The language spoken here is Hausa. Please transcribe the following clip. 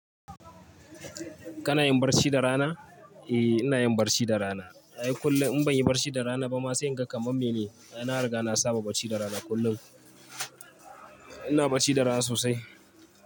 Kana yin barci da rana? Eh, ina yin barci da rana. Ai kullum in ban yi barci da rana ba ma sai in ga kamar me ne. Ai na riga na saba barci da rana kullum. Ina barci da rana sosai.